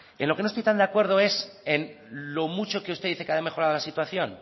en lo que no estoy tan de acuerdo es en lo mucho que usted dice que ha mejorado la situación